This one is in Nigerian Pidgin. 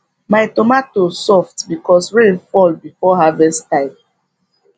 my tomatoes soft because rain fall before harvest time